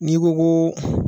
N'i ko ko